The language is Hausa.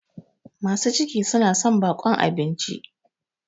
masu ciki suna son baƙon abinci